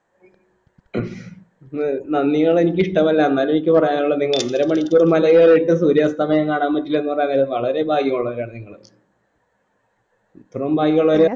ന്ന് നന്ദിന്നൊന്ന് എനിക്ക് ഇഷ്ടമല്ല എന്നാല് എനിക്ക് പറയാനുള്ള എന്തെന്ന് ഒന്നര മണിക്കൂർ മല കയറിയിട്ട് സൂര്യാസ്തമയം കാണാൻ പറ്റില്ലെന്ന് പറഞ്ഞാൽ അങ്ങന വളരെ ഭാഗ്യമുള്ളവരാണ് നിങ്ങള് ഇത്രയും ബാഗ്യുള്ളവര്